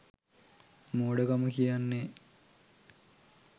මෝඩකම කියන්නේ.